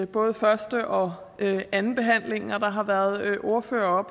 både første og andenbehandlingen og der har været ordførere